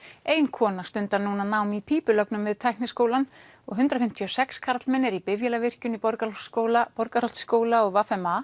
ein kona stundar núna nám í pípulögnum við Tækniskólann og hundrað fimmtíu og sex karlmenn eru í bifvélavirkjun í Borgarholtsskóla Borgarholtsskóla og v m a